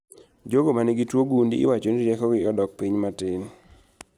Jogo manigi tuo gund iwacho ni rieko gi odok piny matin